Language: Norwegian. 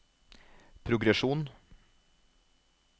progresjon